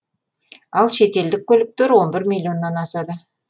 ал шетелдік көліктер он бір миллионнан асады